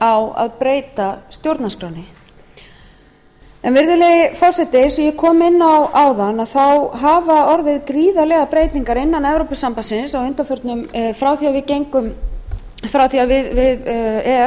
á að breyta stjórnarskránni virðulegi forseti eins og ég kom inn á áðan hafa orðið gríðarlegar breytingar innan evrópusambandsins frá því að e e s